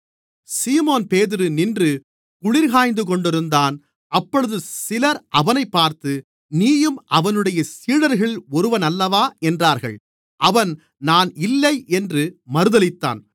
சீமோன்பேதுரு நின்று குளிர்காய்ந்துகொண்டிருந்தான் அப்பொழுது சிலர் அவனைப் பார்த்து நீயும் அவனுடைய சீடர்களில் ஒருவனல்லவா என்றார்கள் அவன் நான் இல்லை என்று மறுதலித்தான்